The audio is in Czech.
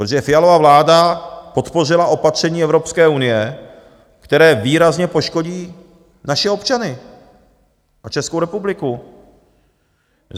Protože Fialova vláda podpořila opatření Evropské unie, které výrazně poškodí naše občany a Českou republiku.